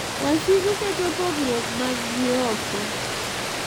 Wasigu keto pogruok maggi oko,